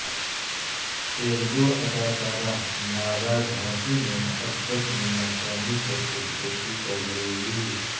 تیلگواداکارہ ناگا جھانسی نے محبت میں ناکامی پرخودکشی کرلی